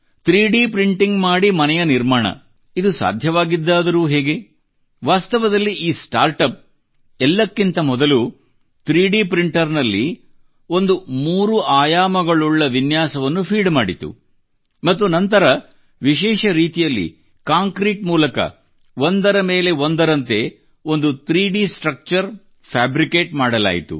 3D printing ಮಾಡಿ ಮನೆಯ ನಿರ್ಮಾಣ ಇದು ಸಾಧ್ಯವಾಗಿದ್ದಾದರೂ ಹೇಗೆ ವಾಸ್ತವದಲ್ಲಿ ಈ ಸ್ಟಾರ್ಟಪ್ ಎಲ್ಲಕ್ಕಿಂತ ಮೊದಲು 3D ಪ್ರಿಂಟರ್ ನಲ್ಲಿ ಒಂದು 3 ಆಯಾಮಗುಳುಳ್ಳ ವಿನ್ಯಾಸವನ್ನು ಫೀಡ್ ಮಾಡಿತು ಮತ್ತು ನಂತರ ವಿಶೇಷ ರೀತಿಯಲ್ಲಿ ಕಾಂಕ್ರೀಟ್ ಮೂಲಕ ಒಂದರ ಮೇಲೆ ಒಂದರಂತೆ ಒಂದು 3D ಸ್ಟ್ರಕ್ಚರ್ ಫ್ಯಾಬ್ರಿಕೇಟ್ ಮಾಡಲಾಯಿತು